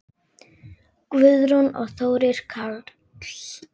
Guðrún og Þórir Karl.